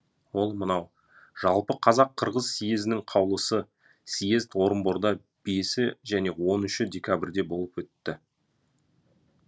ол мынау жалпы қазақ қырғыз съезінің қаулысы съезд орынборда бесі және он үші декабрьде болып өтті